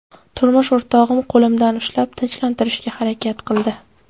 Turmush o‘rtog‘im qo‘limdan ushlab tinchlantirishga harakat qildi.